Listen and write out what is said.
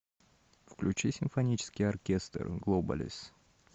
включи симфонический оркестр глобалис